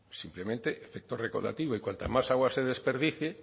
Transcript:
simplemente efecto recaudativo y cuanta más agua se desperdicie